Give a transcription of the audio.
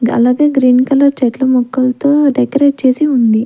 గలగే green colour చెట్లు మొక్కలతో decorate చేసి ఉంది.